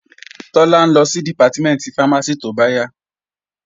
Tọ́lá ń lọ sí Dìpátímẹ̀ntì fámásì tóbáyà